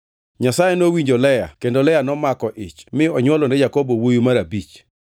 Nyasaye nowinjo Lea kendo Lea nomako ich mi onywolone Jakobo wuowi mar abich.